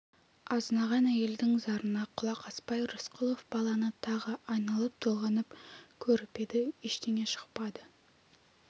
азынаған әйелдің зарына құлақ аспай рысқұлов баланы тағы айналып-толғанып көріп еді ештеңе шықпады